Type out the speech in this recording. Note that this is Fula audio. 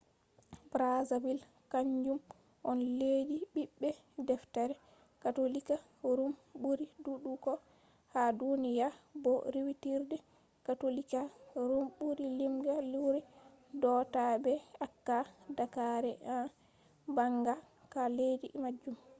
brazil kanjum on leddi bibbe deftere katolika ruum buri dudugo ha duniya bo riwitirde katolika ruum buri limga luuri do ta be acca daakare en banga ha leddi majum